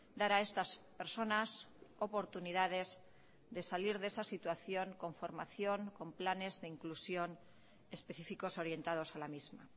dar a estas personas oportunidades de salir de esa situación con formación con planes de inclusión específicos orientados a la misma